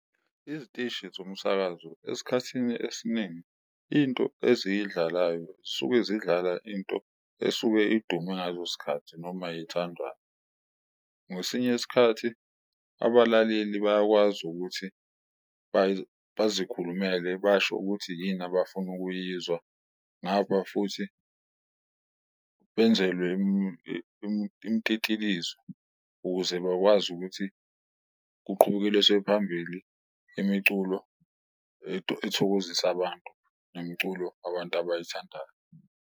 Iziteshi zomsakazo esikhathini esiningi into eziyidlalayo zisuke zidlala into esuke idume sikhathi noma ethandwayo, ngesinye isikhathi abalaleli bayakwazi ukuthi bazikhulumele basho ukuthi yini abafuna ukuyizwa. Ngapha futhi benzelwe imtitilizo ukuze bakwazi ukuthi kuqhubekeliswe phambili imiculo ethokozisa abantu, nomculo abantu abayithandayo.